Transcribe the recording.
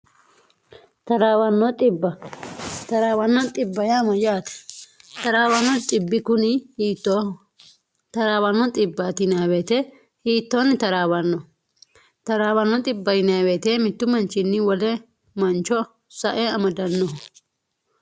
w1rw yaate xrwno ci kuni hiittooho traawo10w hiittoonni taraawanno taraawano w mittu manchinni wole mancho sae amadannoho